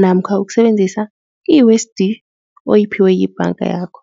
namkha ukusebenzisa oyiphiwe yibhanga yakho.